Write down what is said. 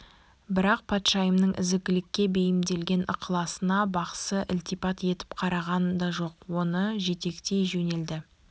бірақ патшайымның ізгілікке бейімделген ықыласына бақсы ілтипат етіп қараған да жоқ оны жетектей жөнелді